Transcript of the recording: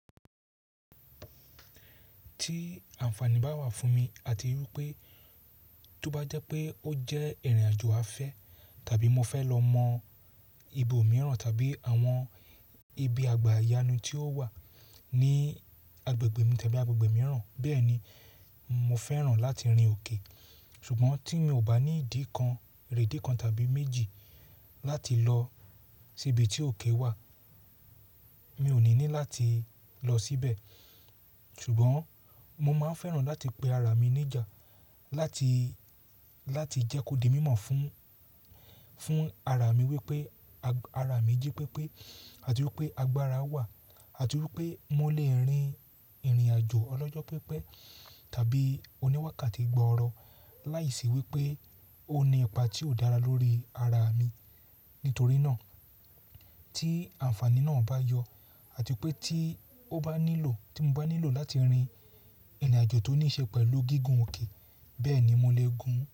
Tí àǹfààní bá wà fún mi àti wípé tó bá jẹ́ pé ó jẹ́ ìrìnàjò afẹ́ tàbí mo fẹ́ lọ mọ ibo mìíràn tàbí àwọn ibi àgbà yánu tí ó wà ní agbègbè mi tàbí agbègbè mìíràn, bẹ́ẹ̀ni mo fẹ́ràn láti rin òkè. Ṣùgbọ́n tí mi ò bá ní ìdí kan, èrè dí kan tàbí méjì láti lọ síbi tí òkè wà, mi ò ní ní láti lọ síbẹ̀. Ṣùgbọ́n mo máa ń fẹ́ràn láti pe ara mi ní ìjà, láti, láti jẹ́ kó di mímọ̀ fún, fún ara mi wípé, ara mi jí pépé àti wípé agbára wà àti wípé mo lè rin ìrìnàjò ọlọ́jọ́ pépé tàbí oníwàkàtí gbọọrọ láìsí wípé ó ní ipa tí ó dára lórí ara mi. Nítorí náà tí àǹfààní náà bá yọ àti pé tí ó bá nílò, tí mo bá nílò láti rin ìrìnàjò tó níí ṣe pẹ̀lú gígùn òkè, bẹ́ẹ̀ni mo lè gùn ún.